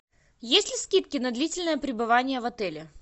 есть ли скидки на длительное пребывание в отеле